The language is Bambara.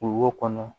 O wo kɔnɔ